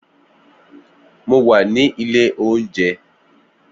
Mo wà ní ilé oúnjẹ